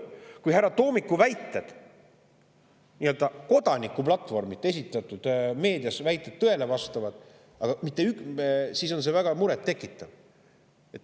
Kui härra Toomiku nii-öelda kodanikuplatvormilt esitatud väited tõele vastavad, siis on see väga muret tekitav.